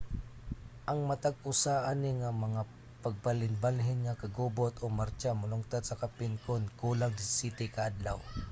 ang matag usa ani nga mga pagbalhinbalhin nga kagubot o martsa molungtad sa kapin kun kulang 17 ka adlaw